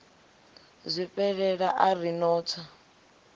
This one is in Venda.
zwifhelela a ri no tswa